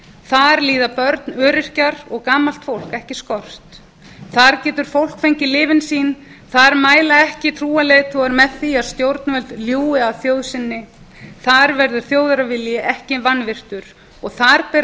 þar líða börn öryrkjar og gamalt fólk ekki skort þar getur fólk fengið lyfin sín þar mæla ekki trúarleiðtogar með því að stjórnvöld ljúgi að þjóð sinni þar verður þjóðarvilji ekki vanvirtur og þar bera